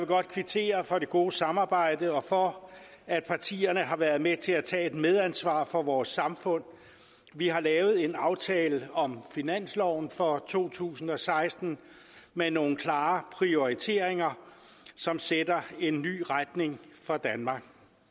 godt kvittere for det gode samarbejde og for at partierne har været med til at tage medansvar for vores samfund vi har lavet en aftale om finansloven for to tusind og seksten med nogle klare prioriteringer som sætter en ny retning for danmark